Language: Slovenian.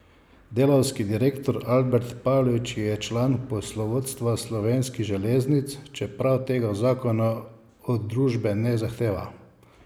Delavski direktor Albert Pavlič je član poslovodstva Slovenskih železnic, čeprav tega zakon od družbe ne zahteva.